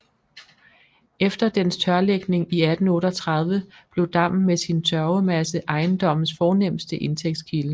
Efter dens tørlægning i 1838 blev dammen med sin tørvemasse ejendommes fornemste indtægtskilde